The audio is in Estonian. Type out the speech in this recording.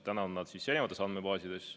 Täna on need erinevates andmebaasides.